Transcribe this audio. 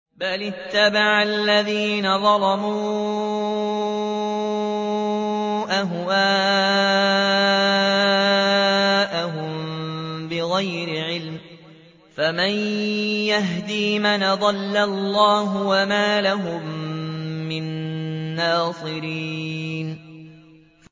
بَلِ اتَّبَعَ الَّذِينَ ظَلَمُوا أَهْوَاءَهُم بِغَيْرِ عِلْمٍ ۖ فَمَن يَهْدِي مَنْ أَضَلَّ اللَّهُ ۖ وَمَا لَهُم مِّن نَّاصِرِينَ